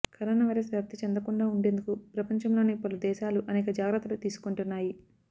corona virus వ్యాప్తి చెందకుండా ఉండేందుకు ప్రపంచంలోని పలు దేశాలు అనేక జాగ్రత్తలు తీసుకొంటున్నాయి